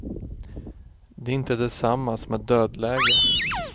Det är inte detsamma som ett dödläge.